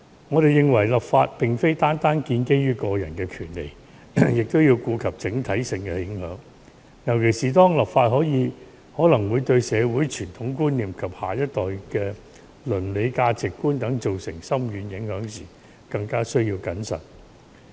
我們認為立法並非單單建基於個人的權利，也要顧及整體性的影響，尤其當立法可能會對社會傳統觀念及下一代的倫理價值觀等造成深遠影響時，更加需要謹慎。